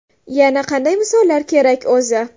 Yana qanday misollar kerak o‘zi?